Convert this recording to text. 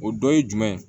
O dɔ ye jumɛn ye